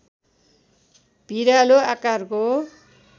भिरालो आकारको